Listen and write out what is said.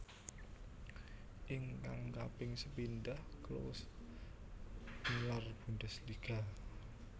Ingkang kaping sepindhah Klose nilar Bundesliga